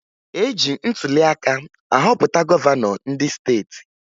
E ji ntụliaka ahọpụta gọvanọ ndị steeti